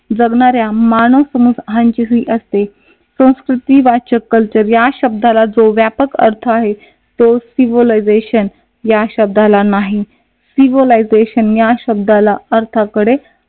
जगणाऱ्या मानव असते संस्कृती वाचक कल्चर या शब्दाला जो व्यापक अर्थ आहे तो सिविलिझेशन या शब्दाला नाही सिव्हिलियझशन या शब्दाला अर्थाकडे